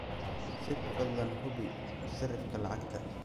sir fadlan hubi sarifka lacagta